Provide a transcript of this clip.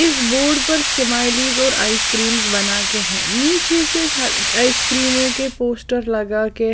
इस बोर्ड पर स्माइलीज और आइस क्रीम्स बनाकर है नीचे से आइसक्रीम के पोस्टर लगा के--